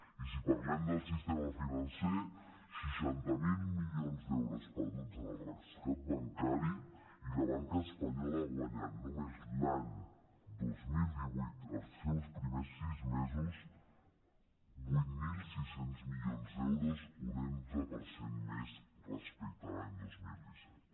i si parlem del sistema financer seixanta miler milions d’euros perduts en el rescat bancari i la banca espanyola ha guanyat només l’any dos mil divuit els seus primers sis mesos vuit mil sis cents milions d’euros un onze per cent més respecte de l’any dos mil disset